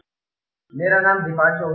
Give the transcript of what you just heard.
My name is Deepanshu Ahuja